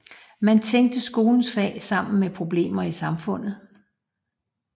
Man tænkte skolens fag sammen med problemer i samfundet